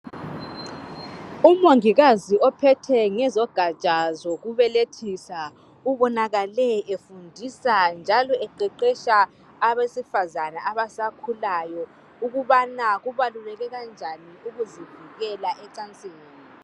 Umongikazi ophethe ngezogatsha zokubelethisa ubonakale efundisa njalo eqeqetsha abesifazana abasakhulayo ukubana kubaluleke kanjani ukuzivikela ecansini.